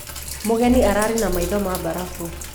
Mũgenĩ ararĩ na maĩtho ma barafũ.